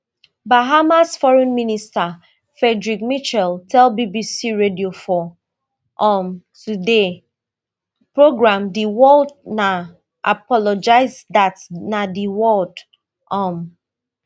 bahamas foreign minister frederick mitchell tell bbc radio four um today programme di word na apologise dat na di word um